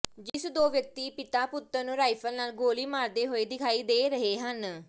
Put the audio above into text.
ਜਿਸ ਦੋ ਵਿਅਕਤੀ ਪਿਤਾ ਪੁੱਤਰ ਨੂੰ ਰਾਈਫ਼ਲ ਨਾਲ ਗੋਲੀ ਮਾਰਦੇ ਹੋਏ ਦਿਖਾਈ ਦੇ ਰਹੇ ਹਨ